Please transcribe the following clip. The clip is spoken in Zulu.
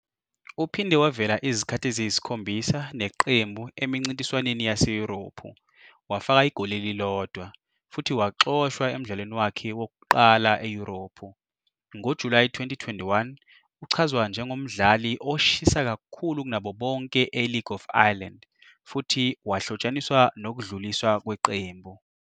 Uphinde wavela izikhathi eziyisikhombisa neqembu emincintiswaneni yaseYurophu, wafaka igoli elilodwa, futhi waxoshwa emdlalweni wakhe wokuqala eYurophu. NgoJulayi 2021, uchazwa "njengomdlali oshisa kakhulu kunabo bonke e-League of Ireland" futhi wahlotshaniswa nokudluliswa kweqembu.